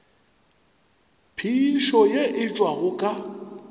phišo ye e tšwago ka